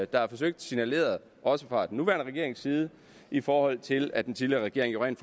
der er forsøgt signaleret også fra den nuværende regerings side i forhold til at den tidligere regering rent